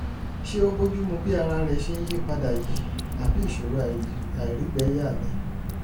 ṣé ó bójúmu bí ara rẹ̀ ṣe ń yí padà yìí àbí ìṣòro àìrígbẹ̀ẹ́yà ni?